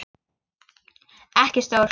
Ekki stór.